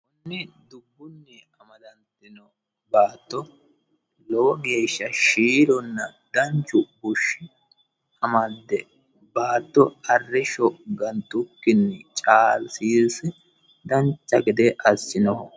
konni dubbunni amadantino baatto lowo geeshsha shiilonna danchu bushshi amadde baatto arre sho gantukkinni caalsiisi danca gede assinoho